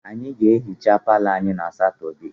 Anyị ga-ehicha palọ anyị na Satọdee